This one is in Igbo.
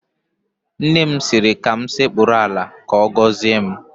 Nne m sịrị m sekpuru ala ka ọ gọzie m